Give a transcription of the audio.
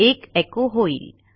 1 एचो होईल